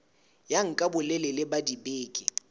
ya nka bolelele ba dibeke